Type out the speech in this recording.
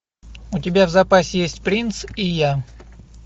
у тебя в запасе есть принц и я